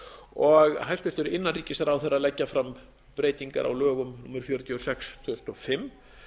og hæstvirtur innanríkisráðherra leggja fram breytingar á lögum númer fjörutíu og sex tvö þúsund og fimm